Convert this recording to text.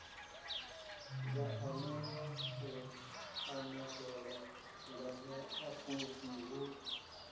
vhaanewa u anetshela nganeapfhufhi hu